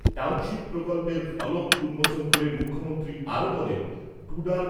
township প্রকল্পের ফলক উন্মোচন করে মুখ্যমন্ত্রী আরও বলেন, টুডার